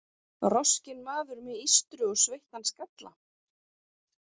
Roskinn maður með ístru og sveittan skalla.